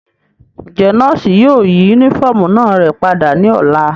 Njẹ nọọsi yóò yi unifọmú náa rẹ pada ni ọla?